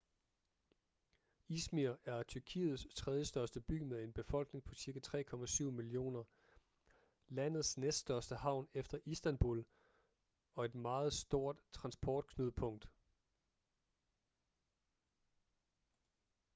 izmir er tyrkiets tredjestørste by med en befolkning på cirka 3,7 millioner landets næststørste havn efter istanbul og et meget stort transportknudepunkt